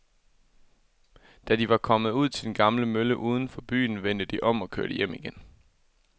Da de var kommet ud til den gamle mølle uden for byen, vendte de om og kørte hjem igen.